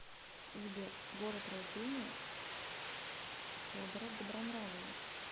сбер город рождения федора добронравова